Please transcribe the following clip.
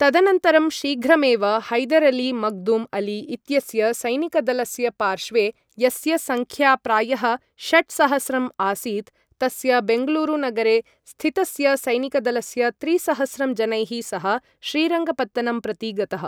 तदनन्तरं शीघ्रमेव, हैदर् अली मक्दुम् अली इत्यस्य सैनिकदलस्य पार्श्वे, यस्य संख्या प्रायः षट्सहस्रं आसीत्, तस्य बेङ्गलूरुनगरे स्थितस्य सैनिकदलस्य त्रिसहस्रं जनैः सह श्रीरङ्गपत्तनं प्रति गतः।